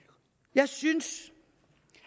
jeg synes